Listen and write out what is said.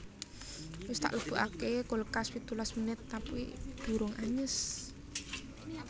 Wis tak lebokake kulkas pitulas menit tapi durung anyes